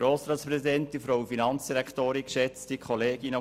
Deshalb stimmen Sie ihm bitte zu.